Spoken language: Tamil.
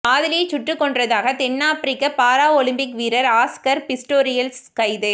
காதலியைச் சுட்டுக் கொன்றதாக தென் ஆப்பிரிக்க பாராலிம்பிக் வீரர் ஆஸ்கர் பிஸ்டோரியஸ் கைது